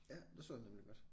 Ja det så jeg nemlig godt